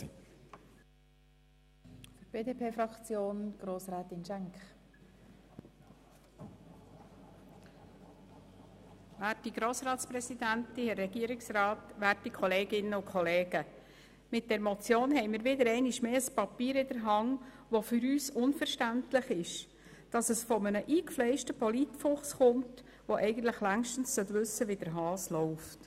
Mit dieser Motion haben wir einmal mehr ein Papier in der Hand, das für uns unverständlich ist, aber von einem eingefleischten Polit-Fuchs kommt, der eigentlich längst wissen sollte, wie der Hase läuft.